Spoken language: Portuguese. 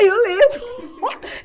Eu lembro!